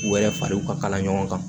U yɛrɛ fariw ka kala ɲɔgɔn kan